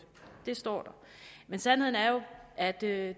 det står der sandheden er jo at det